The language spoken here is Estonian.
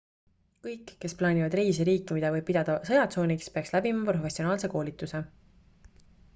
kõik kes plaanivad reisi riiki mida võib pidada sõjatsooniks peaks läbima professionaalse koolituse